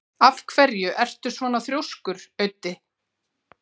Af hverju ertu svona þrjóskur, Auddi?